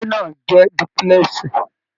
Ilé náà jẹ dúpúlẹ́sì.